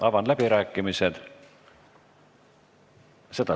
Avan läbirääkimised.